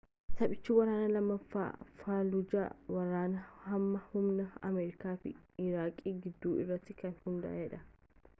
taphichi waraana lammaffaa faalujaa ,waraana hamaa humna amerikaa fi iiraaq gidduu irratti kan hundaa’edha